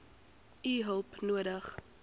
u hulp nodig